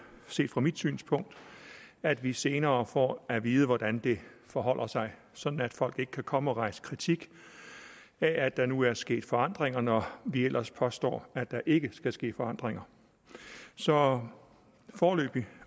set fra mit synspunkt at vi senere får at vide hvordan det forholder sig sådan at folk ikke kan komme og rejse kritik af at der nu er sket forandringer når vi ellers påstår at der ikke skal ske forandringer så foreløbig